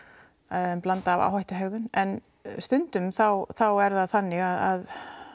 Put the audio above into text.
en blanda af áhættu hegðun en stundum þá er það þannig að